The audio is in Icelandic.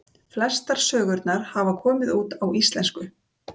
Flestar sögurnar hafa komið út á íslensku.